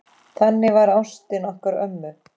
Þannig var ástin okkar ömmu.